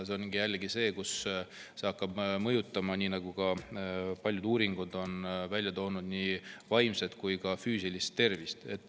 See on see, mis hakkab mõjutama, nagu ka paljud uuringud on välja toonud, nii vaimset kui ka füüsilist tervist.